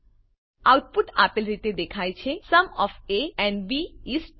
output આપેલ રીતે દેખાય છે sum of A and B is 12